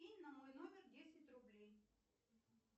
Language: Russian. кинь на мой номер десять рублей